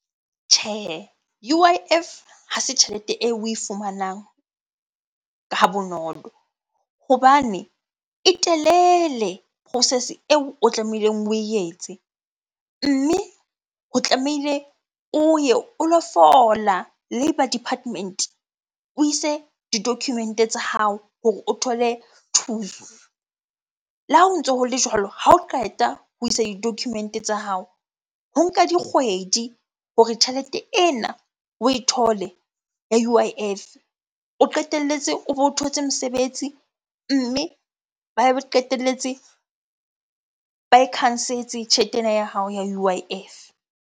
Tjhehe, U_I_F ha se tjhelete eo oe fumanang ha bonolo hobane e telele process-e eo o tlamehileng oe etse. Mme o tlamehile o ye o lo fola labour department, o ise di-document-e tsa hao hore o thole thuso. Le ha o ntso ho le jwalo, ha o qeta ho isa di-document tsa hao. Ho nka dikgwedi hore tjhelete ena oe thole ya U_I_F. O qetelletse o be o thotse mosebetsi, mme ba be ba qetelletse ba e khansetse tjhelete ena ya hao ya U_I_F.